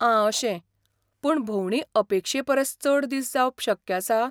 आं अशें, पूण भोंवडी अपेक्षे परस चड दीस जावप शक्य आसा?